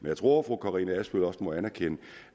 jeg tror at fru karina adsbøl også må anerkende